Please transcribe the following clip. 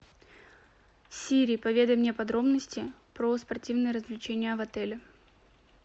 сири поведай мне подробности про спортивные развлечения в отеле